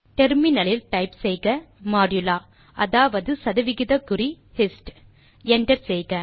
முனையத்தில் டைப் செய்க மாடுலோ அதாவது சதவிகிதக்குறி hist160 enter செய்க